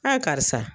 karisa